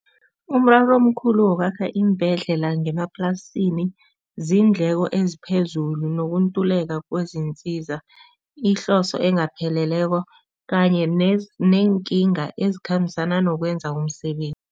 Umraro omkhulu wokwakha iimbhedlela ngemaplasini, ziindleko nokutuleka kwezinsiza, ihloso engapheleleko kanye neenkinga ezikhambisana nokwenza umsebenzi.